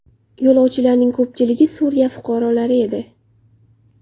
Yo‘lovchilarning ko‘pchiligi Suriya fuqarolari edi.